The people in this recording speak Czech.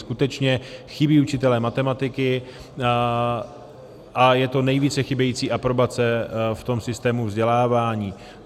Skutečně chybí učitelé matematiky a je to nejvíce chybějící aprobace v tom systému vzdělávání.